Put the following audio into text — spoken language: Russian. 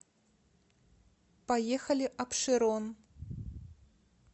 поехали апшерон